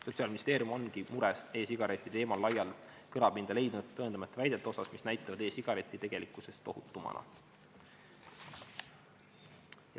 Sotsiaalministeerium ongi mures e-sigarettide teemal laia kõlapinda leidnud tõendamata väidete pärast, mis näitavad e-sigarette tegelikkusest ohutumana.